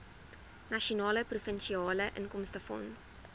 nasionale provinsiale inkomstefonds